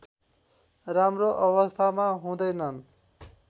राम्रो अवस्थामा हुँदैनन्